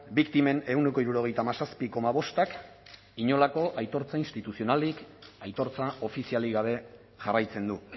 biktimen ehuneko hirurogeita hamazazpi koma bostak inolako aitortza instituzionalik aitortza ofizialik gabe jarraitzen du